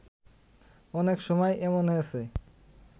অনেক সময় এমন হয়েছে